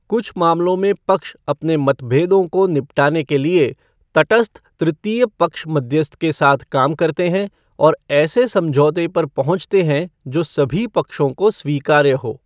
कुछ मामलों में पक्ष अपने मतभेदों को निपटाने के लिए तटस्थ तृतीय पक्ष मध्यस्थ के साथ काम करते हैं और ऐसे समझौते पर पहुँचते हैं जो सभी पक्षों को स्वीकार्य हो।